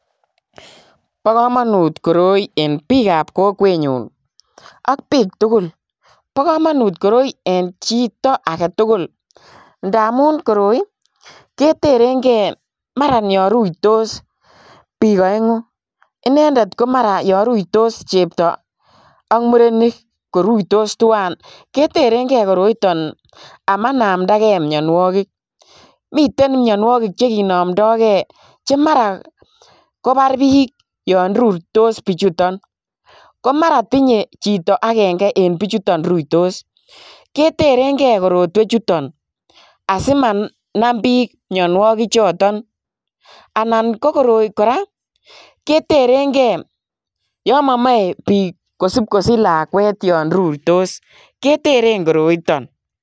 Bokomonut koroi en bikab kokwenyun ak bik tugul, bokomonut koroi en chito agetugul ndamun koroi ii keterengee maran yon ruitos bik oengu inendet ko maran yon ruitos chepto ak murenik koruitos twan keterengee koroiton amanamdagee mionuokik, miten mionuokik chekinomdogee chemaran kobar bik yon ruitos bichuton komaran tinye chito agenge en bichu ruitos keterengee korotwechuton asimanam bik mionuokichoton, anan ko korpi koraa keterengee yon momoe bik kosipkosich lakwet yon ruitos keteren koroiton.